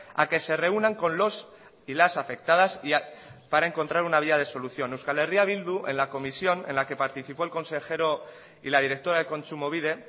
a que se reúnan con los y las afectadas para encontrar una vía de solución euskal herria bildu en la comisión en la que participó el consejero y la directora de kontsumobide